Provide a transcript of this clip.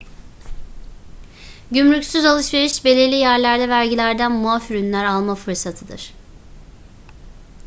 gümrüksüz alışveriş belirli yerlerde vergilerden muaf ürünler alma fırsatıdır